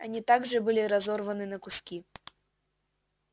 они также были разорваны на куски